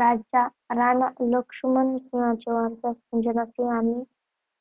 राणा लक्ष्मणसिंहांचे वारस सुजाणसिंह आणि